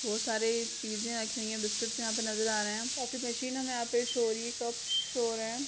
बहुत सारे चीज़े रखी हुई है बिस्किट्स यहाँ पे नज़र आ रहे है कॉफ़ी मशीन यहाँ पे शो हो रही है कप शो हो रहे हैं।